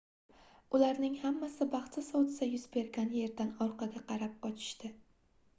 ularning hammasi baxtsiz hodisa yuz bergan yerdan orqaga qarab qochishdi